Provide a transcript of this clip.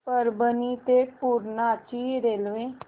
परभणी ते पूर्णा ची रेल्वे